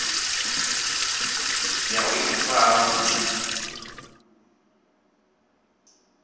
ya u ifara vhu tshi